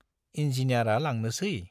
इन्जिनियारा लांनोसै ?